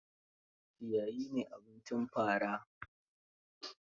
Ciyayi ne abincin fara.